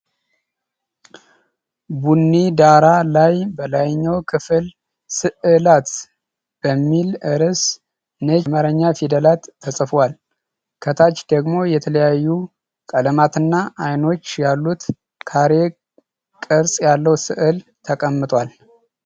ቡኒ ዳራ ላይ በላይኛው ክፍል "ሥዕላት" በሚል ርዕስ ነጭ የአማርኛ ፊደላት ተጽፈዋል። ከታች ደግሞ የተለያዩ ቀለማትና አይኖች ያሉት ካሬ ቅርጽ ያለው ሥዕል ተቀምጧል።